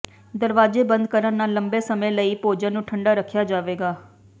ਦਰਵਾਜ਼ੇ ਬੰਦ ਕਰਨ ਨਾਲ ਲੰਬੇ ਸਮੇਂ ਲਈ ਭੋਜਨ ਨੂੰ ਠੰਡਾ ਰੱਖਿਆ ਜਾਵੇਗਾ